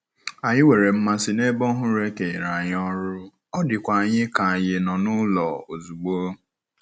Anyị nwere mmasị n'ebe ọhụrụ e kenyere anyị ọrụ, ọ dịkwa anyị ka anyị nọ n'ụlọ ozugbo.